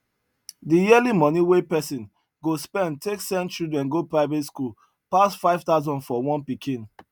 the yearly moni wey person go spend take send children go private school pass 5000 for one pikin